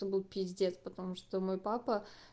то был пиздец потому что мой папа